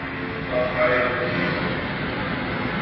Það á bæði við um íslensk fyrirtæki og erlend.